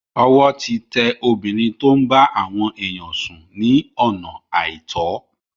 Ọwọ́ ti tẹ obìnrin tó ń bá àwọn èyàn sùn ní ọ̀nà àìtọ́.